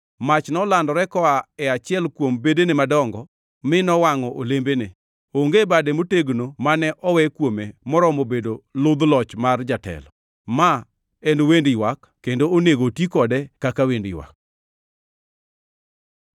Mach nolandore koa e achiel kuom bedene madongo mi nowangʼo olembene. Onge bade motegno mane owe kuome moromo bedo ludh loch mar jatelo.’ Ma en wend ywak kendo onego oti kode kaka wend ywak.”